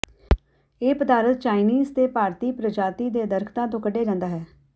ਇਹ ਪਦਾਰਥ ਚਾਈਨੀਜ਼ ਤੇ ਭਾਰਤੀ ਪ੍ਰਜਾਤੀ ਦੇ ਦਰਖਤਾਂ ਤੋਂ ਕੱਢਿਆ ਜਾਂਦਾ ਹੈ